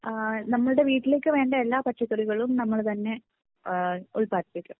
നമ്മുടെ വീട്ടിലേക്ക് വേണ്ട എല്ലാ പച്ചക്കറികളും നമ്മൾ തന്നെ ഉൽപാദിപ്പിക്കുക .